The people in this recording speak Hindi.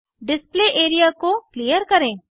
डिस्प्ले एरिया को क्लियर करें